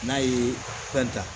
N'a ye fɛn ta